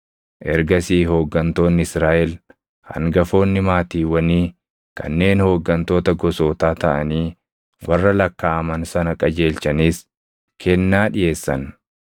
Ergasii hooggantoonni Israaʼel, hangafoonni maatiiwwanii kanneen hooggantoota gosootaa taʼanii warra lakkaaʼaman sana qajeelchanis kennaa dhiʼeessan.